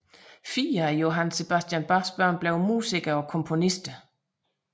Fire af Johann Sebastian Bachs børn blev musikere og komponister